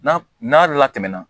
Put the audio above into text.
N'a n'a latɛmɛna